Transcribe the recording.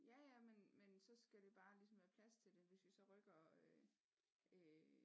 Ja ja men så skal det bare ligesom være plads til det hvis vi så rykker øh